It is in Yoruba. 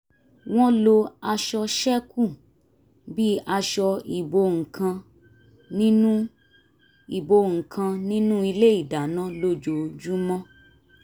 wọ́n ń lo aṣọ ṣẹ́kù bí àṣọ ìbo nǹkan nínú ìbo nǹkan nínú ilé ìdáná lójoojúmọ́